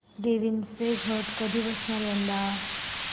देवींचे घट कधी बसणार यंदा